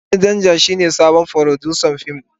Sani Danja shine sabon furodusan fim.